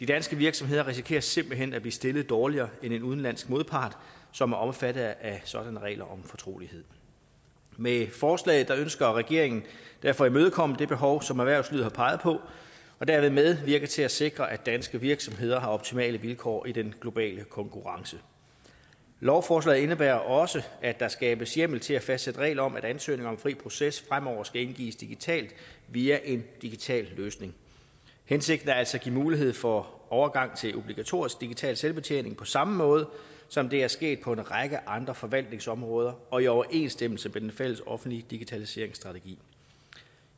dansk virksomhed risikerer simpelt hen at blive stillet dårligere end en udenlandsk modpart som er omfattet af sådanne regler om fortrolighed med forslaget ønsker regeringen derfor at imødekomme det behov som erhvervslivet har peget på og dermed medvirke til at sikre at danske virksomheder har optimale vilkår i den globale konkurrence lovforslaget indebærer også at der skabes hjemmel til at fastsætte regler om at ansøgninger om fri proces fremover skal indgives digitalt via en digital løsning hensigten er altså at give mulighed for overgang til obligatorisk digital selvbetjening på samme måde som det er sket på en række andre forvaltningsområder og i overensstemmelse med den fælles offentlige digitaliseringsstrategi